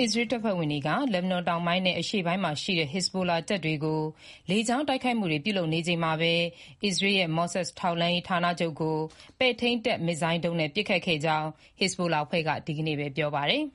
အစ္စရေးတပ်ဖွဲ့ဝင်တွေက လက်ဘနွန်တောင်ပိုင်းနဲ့ အရှေ့ပိုင်းမှာရှိတဲ့ ဟစ်ဇ်ဘိုလာတပ်တွေကို လေကြောင်းတိုက်ခိုက်မှုတွေ ပြုလုပ်နေချိန်မှာပဲ အစ္စရေးရဲ့ Mossad ထောက်လှမ်းရေး ဌာနချုပ်ကို ပဲ့ထိန်းတပ်မစ်ဇိုင်းဒုံးနဲ့ ပစ်ခတ်ခဲ့ကြောင်း ဟစ်ဇ်ဘိုလာအဖွဲ့က ဒီနေ့ပဲ ပြောပါတယ်။